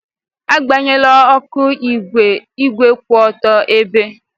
Agbanyela oku igwe igwe kwụ otu ebe!